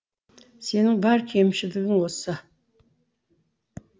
сенің бар кемшілігің осы